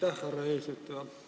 Aitäh, härra eesistuja!